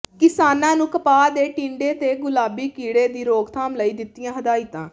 ਕਿਸਾਨਾਂ ਨੂੰ ਕਪਾਹ ਦੇ ਟਿੰਡੇ ਦੇ ਗੁਲਾਬੀ ਕੀੜੇ ਦੀ ਰੋਕਥਾਮ ਲਈ ਦਿੱਤੀਆਂ ਹਦਾਇਤਾਂ